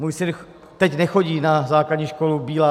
Můj syn teď nechodí na základní školu Bílá.